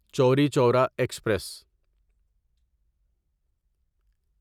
چوری چورا ایکسپریس